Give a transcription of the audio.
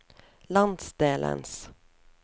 landsdelens